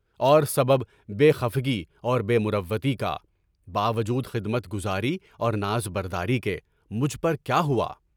اور سبب بے خفگی اور بے مروتی کا (باوجود خدمتگزاری اور نازبرداری کے) مجھ پر کیا ہوا؟